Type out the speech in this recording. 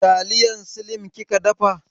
Taliyar slim kika dafa?